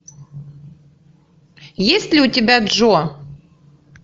есть ли у тебя джо